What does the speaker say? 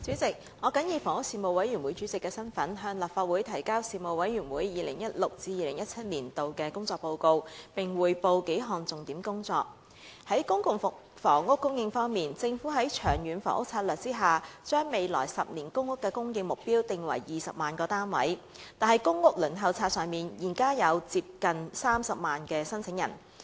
主席，我謹以房屋事務委員會主席的身份，向立法會提交事務委員會 2016-2017 年度的工作報告，並匯報數項重點工作。在公共房屋供應方面，政府在《長遠房屋策略》下，將未來10年公屋的供應目標定為20萬個單位，但公屋輪候冊上現有接近30萬名申請人。